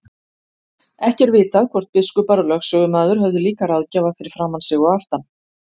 Ekki er vitað hvort biskupar og lögsögumaður höfðu líka ráðgjafa fyrir framan sig og aftan.